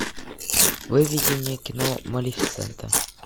выведи мне кино малефисента